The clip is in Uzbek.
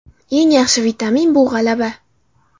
Eng yaxshi vitamin bu g‘alaba.